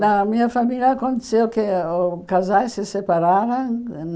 Na minha família aconteceu que o casais se separaram.